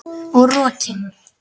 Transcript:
Og rokin.